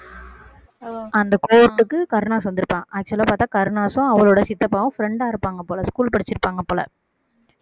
அந்த கோர்ட்டுக்கு கருணாஸ் வந்திருப்பான் actual லா பாத்தா கருணாசும் அவரோட சித்தப்பாவும் friend ஆ இருப்பாங்க போல school படிச்சிருப்பாங்க போல